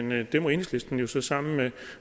men det må enhedslisten jo så sammen med